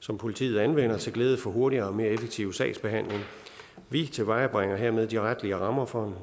som politiet anvender til glæde for hurtigere og mere effektiv sagsbehandling vi tilvejebringer hermed de retlige rammer for